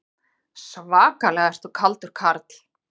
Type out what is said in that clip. Svakalega ertu kaldur karl!